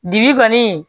Bibi kɔni